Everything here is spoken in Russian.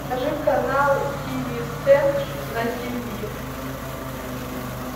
покажи канал тиви центр на тиви